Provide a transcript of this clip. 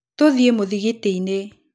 Tũthiĩ mũthigitinĩ.